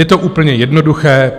Je to úplně jednoduché.